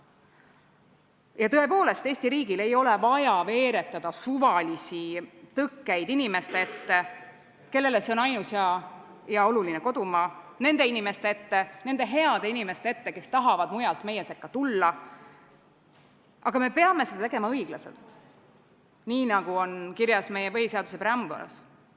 Ja tõepoolest, Eesti riigil ei ole vaja veeretada suvalisi tõkkeid inimeste ette, kellele see on ainus ja oluline kodumaa, nende inimeste ette, nende heade inimeste ette, kes tahavad mujalt meie sekka tulla, aga me peame seda tegema õiglaselt – nii, nagu on kirjas meie põhiseaduse preambulis.